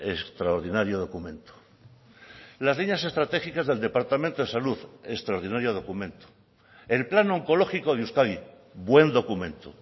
extraordinario documento las líneas estratégicas del departamento de salud extraordinario documento el plan oncológico de euskadi buen documento